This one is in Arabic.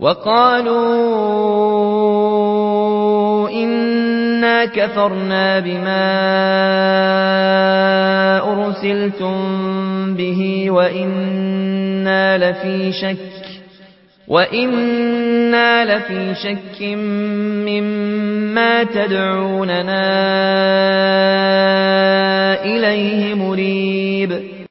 وَقَالُوا إِنَّا كَفَرْنَا بِمَا أُرْسِلْتُم بِهِ وَإِنَّا لَفِي شَكٍّ مِّمَّا تَدْعُونَنَا إِلَيْهِ مُرِيبٍ